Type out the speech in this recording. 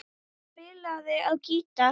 Hann spilaði á gítar.